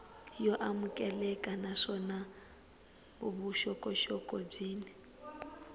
yo amukeleka naswona vuxokoxoko byin